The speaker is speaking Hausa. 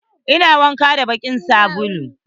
Ina wanka da bakin sabulu.